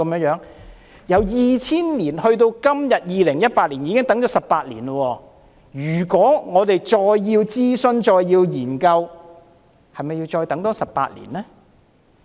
由2000年到2018年已經等了18年，如果我們還要再等諮詢和研究，那是否代表我們要再等18年呢？